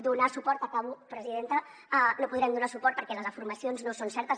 donar suport acabo presidenta no hi podrem donar suport perquè les afirmacions no són certes